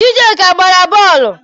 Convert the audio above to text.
Chijioke a gbara bọọlụ?